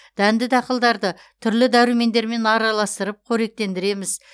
дәнді дақылдарды түрлі дәрумендермен араластырып қоректендіреміз